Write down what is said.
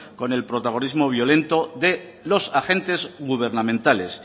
con el protagonismo violento de los agentes gubernamentales